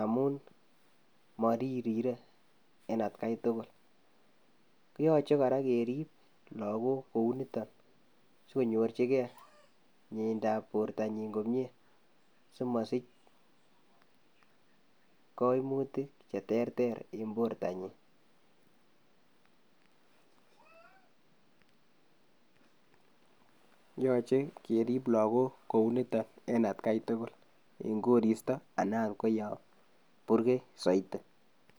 amun moririre en atkai tukul, koyoche kora kerib lokok kouniton sikonyorchike mnyeidab bortanyin komnye simosich koimutik cheterter en bortanyin yoche kerib lokok kouniton en atkai tukul, yoon koristo anan oot ko yoon burkei soiti.